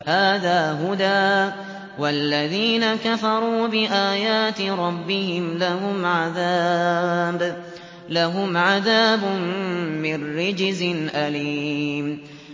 هَٰذَا هُدًى ۖ وَالَّذِينَ كَفَرُوا بِآيَاتِ رَبِّهِمْ لَهُمْ عَذَابٌ مِّن رِّجْزٍ أَلِيمٌ